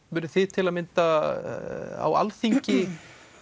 munið þið til að mynda á Alþingi